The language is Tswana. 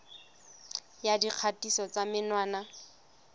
ya dikgatiso tsa menwana le